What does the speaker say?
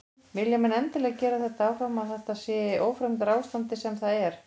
Vilja menn endilega gera þetta áfram að þetta sé í því ófremdarástandi sem það er?